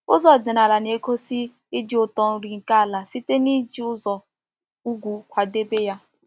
Ụzọ ọdịnala na-egosi ịdị ụtọ nri nke ala site n’iji ụzọ ugwu kwadebe ya.